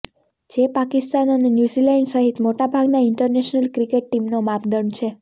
જે પાકિસ્તાન અને ન્યૂઝિલેન્ડ સહિત મોટાભાગના ઇન્ટરનેશનલ ક્રિકેટ ટીમનો માપદંડ છે